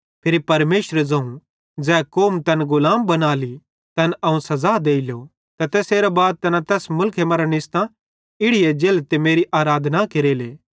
फिरी परमेशरे ज़ोवं ज़ै कौम तैन गुलाम बनाली अवं तैन सज़ा देलो ते तैसेरां बाद तैना तैस मुलखे मरां निस्सतां इड़ी एज्जेले ते मेरी आराधना केरेले